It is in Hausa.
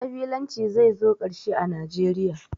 Ƙabilanci zai zo ƙarshe a Najeriya